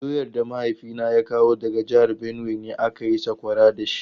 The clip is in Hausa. Doyar da mahaifina ya kawo daga jihar Benue ne aka yi sakwara da shi.